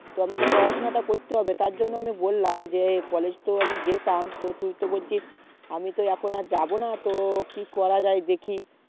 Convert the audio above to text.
তো আমাকে পড়াশোনা টা করতে হবে তার জন্য আমি বললাম যে college তো আমি যেতাম তো তুই তো বলছিস আমি এখন আর যাবোনা তো কি করা যাই দেখি